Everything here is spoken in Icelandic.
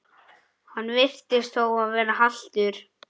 Hann virtist þó vera haltur.